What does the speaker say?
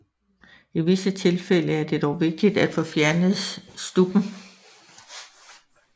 I visse tilfælde er det dog vigtigt at få fjernet stubben